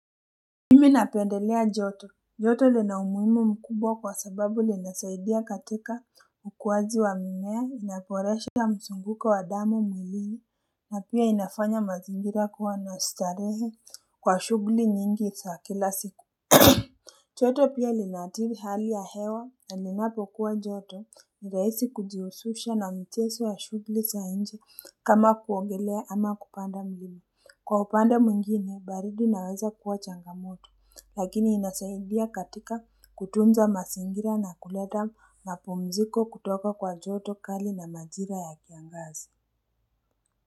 Mimi napendelea joto joto lina umuhimu mkubwa kwa sababu linasaidia katika ukuwazi wa mimea inaboresha mzunguko wa damu mwilini na pia inafanya mazingira kuwa na starehe kwa shughuli nyingi za kila siku joto pia linaathiri hali ya hewa na ninapo kuwa joto nirahisi kujihusisha na mchezo ya shughuli za nje kama kuogelea ama kupanda mlima. Kwa upande mwingine, baridi inaweza kuwa changamoto lakini inasaidia katika kutunza mazingira na kuleta mapumziko kutoka kwa joto kali na majira ya kiangazi.